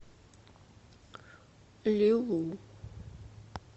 лилу